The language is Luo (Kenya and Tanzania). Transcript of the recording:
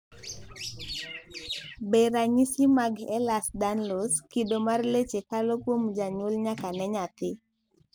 beranyisi mag Ehlers Danlos ,kido mar leche kalo kuom janyuol nyaka ne nyathi?